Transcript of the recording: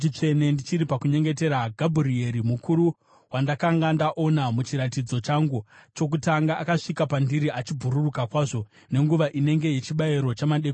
ndichiri pakunyengetera, Gabhurieri, murume wandakanga ndaona muchiratidzo changu chokutanga, akasvika pandiri achibhururuka kwazvo nenguva inenge yechibayiro chamadekwana.